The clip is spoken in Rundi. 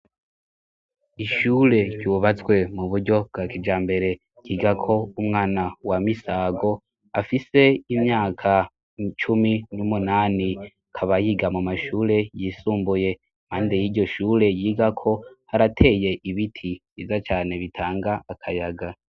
Ishure ryubatswe mu buryo bwa kijambere ryigako umwana wa Misago afise imyaka cumi n'umunani akabayiga mu mashure yisumbuye, impande y'iryo shure yigako harateye ibiti vyiza cane bitanga akayaga.